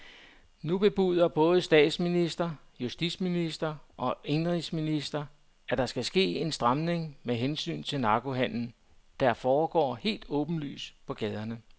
Nu bebuder både statsminister, justitsminister og indenrigsminister, at der skal ske en stramning med hensyn til narkohandelen, der foregår helt åbenlyst på gaderne.